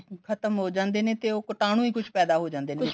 ਖਤਮ ਹੋ ਜਾਂਦੇ ਨੇ ਤੇ ਉਹ ਕੀਟਾਨੂ ਈ ਉਹ ਕੁੱਛ ਪੈਦਾ ਹੋ ਜਾਂਦੇ ਨੇ